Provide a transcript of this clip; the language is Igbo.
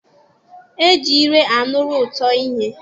E ji ire a nụrụ ụtọ ihe.